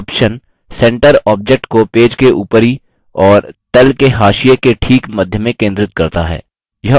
option centre object को page के ऊपरी और the के हाशिये के ठीक मध्य में केंद्रित करता है